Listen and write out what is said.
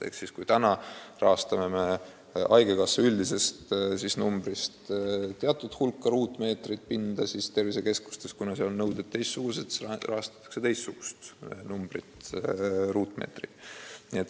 Ehk siis, kui me praegu rahastame haigekassa üldisest eelarvest teatud hulka ruutmeetreid pinda, siis tervisekeskustes, kuna seal on nõuded teistsugused, rahastatakse teisiti.